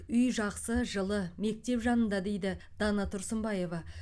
үй жақсы жылы мектеп жанында дейді дана тұрсынбаева